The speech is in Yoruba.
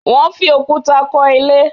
They used stones to build the house